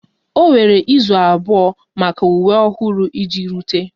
O were izu abụọ maka uwe ọhụrụ iji rute